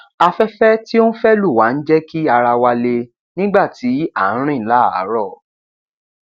afẹfẹ tí ó ń fẹ lù wá ń jẹ kí ara wa le nígbà tí a ń rìn láàárọ